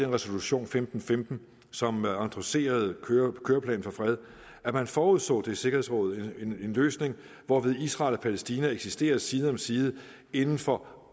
resolution femten femten som endosserede køreplanen for fred at man forudså det er sikkerhedsrådet en løsning hvorved israel og palæstina eksisterer side om side inden for